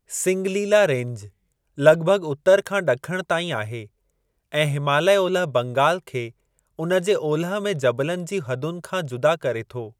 Singalila range लॻिभॻि उतर खां ॾखणु ताईं आहे ऐं हिमालय ओलह बंगाल खे उन जे ओलह में जबलनि जी हदुनि खां जुदा करे थो।